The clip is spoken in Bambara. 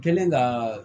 Kɛlen ka